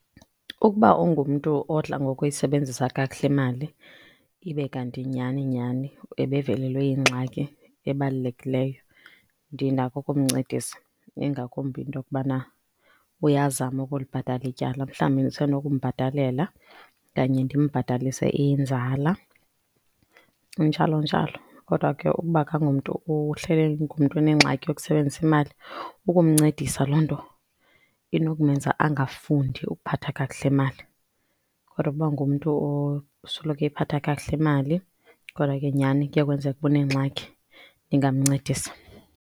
Ukuba ungumntu odla ngokuyisebenzisa kakuhle mali ibe kanti nyhani nyhani ebevelelwe yingxaki ebalulekileyo, ndinako ukumncedisa ingakumbi into yokubana uyazama ukulibhatala ityala. Mhlawumbi ndisenokumbhatalela okanye ndimbhatalise inzala, njalo njalo. Kodwa ke ukuba akangomntu ohleli engumntu onengxaki yokusebenzisa imali, ukumncedisa loo nto inokumenza angafundi ukuphatha kakuhle mali. Kodwa ukuba ngumntu osoloko eyiphatha kakuhle mali, kodwa ke nyhani kuye kwenzeke uba unengxaki ndingamncedisa.